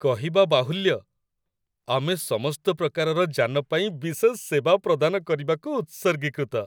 କହିବା ବାହୁଲ୍ୟ, ଆମେ ସମସ୍ତ ପ୍ରକାରର ଯାନ ପାଇଁ ବିଶେଷ ସେବା ପ୍ରଦାନ କରିବାକୁ ଉତ୍ସର୍ଗୀକୃତ।